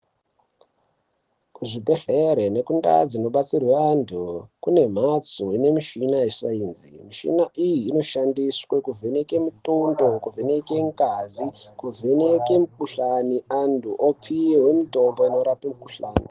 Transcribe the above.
Kuzvibhedhere nekundau dzinodetserwe antu kunemhatso inemishina yesainzi. Mishina iyi inoshande0 kuvheneke mitundo, kuvheneke ngazi kuvheneke mikhuhlani, antu opihwe mitombo inorape mikhuhlane.